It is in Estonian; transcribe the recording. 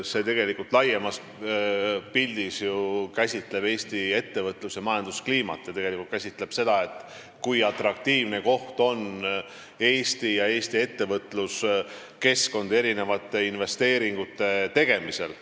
See tegelikult laiemas pildis käsitleb ju Eesti ettevõtlus- ja majanduskliimat ning seda, kui atraktiivne on Eesti ja Eesti ettevõtluskeskkond investeeringute tegemiseks.